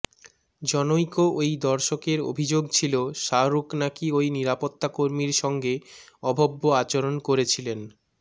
জনৈক ওই দর্শকের অভিযোগ ছিল শাহরুখ নাকি ওই নিরাপত্তাকর্মীর সঙ্গে অভব্য আচরণ করেছিলেন